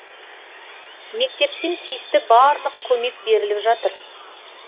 мектептен тиісті барлық көмек беріліп жатыр